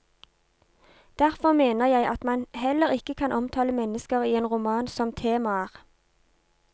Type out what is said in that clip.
Derfor mener jeg at man heller ikke kan omtale mennesker i en roman som temaer.